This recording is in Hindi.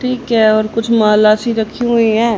ठीक है और कुछ माला सी रखी हुई हैं।